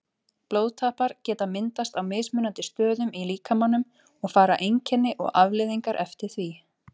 Blóðtappar geta myndast á mismunandi stöðum í líkamanum og fara einkenni og afleiðingar eftir því.